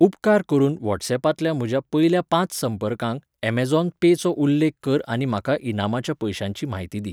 उपकार करून व्हॉट्सअॅपांतल्या म्हज्या पयल्या पांच संपर्कांक अमेझॉन पे चो उल्लेख कर आनी म्हाका इनामाच्या पयशांची म्हायती दी.